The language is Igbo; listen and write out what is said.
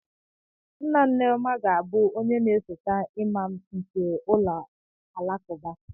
Nna Nneoma ga-abụ onye na-esote imam nke ụlọ alakụba.